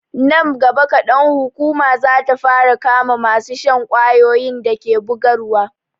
Nan gaba kadan, hukuma za ta fara kama masu shan ƙwayoyin da ke bugarwa.